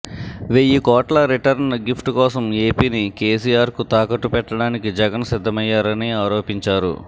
వెయ్యి కోట్ల return gift కోసం ఏపీని కేసీఆర్కు తాకట్టు పెట్టడానికి జగన్ సిద్ధమయ్యారని ఆరోపించారు